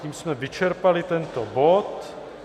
Tím jsme vyčerpali tento bod.